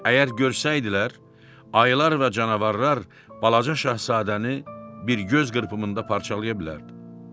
Əgər görsəydilər, ayılar və canavarlar balaca Şahzadəni bir göz qırpımında parçalaya bilərdi.